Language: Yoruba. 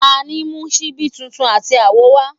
tani mu ṣibi titun ati awo wa?